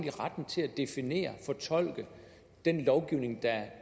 har retten til at definere og fortolke den lovgivning